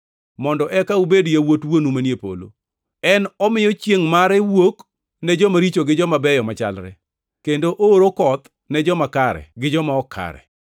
mondo eka ubed yawuot Wuonu manie polo. En omiyo chiengʼ mare wuok ni joma richo gi joma beyo machalre, kendo ooro koth ne joma kare gi joma ok kare.